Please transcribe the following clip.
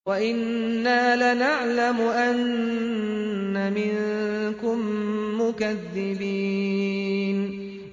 وَإِنَّا لَنَعْلَمُ أَنَّ مِنكُم مُّكَذِّبِينَ